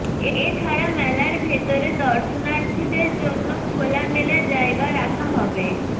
এ ছাড়া মেলার ভেতরে দর্শনার্থীদের জন্য খোলামেলা জায়গা রাখা হবে